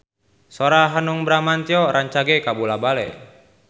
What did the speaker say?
Sora Hanung Bramantyo rancage kabula-bale